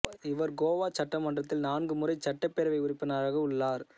இவர் கோவா சட்டமன்றத்தில் நான்கு முறை சட்டப்பேரவை உறுப்பினராக உள்ளார்